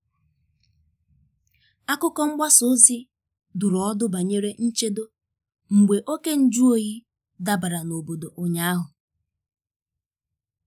Akụkọ mgbasa ozi dụrụ ọdụ banyere nchedo mgbe oké nju oyi dabara n'obodo ụnyaahụ.